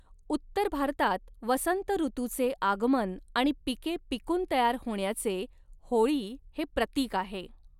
उत्तर भारतात वसंत ऋतूचे आगमन आणि पिके पिकून तयार होण्याचे होळी हे प्रतीक आहे.